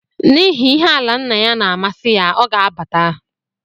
N’ihi ihe ala nna ya na-amasị ya, ọ ga abata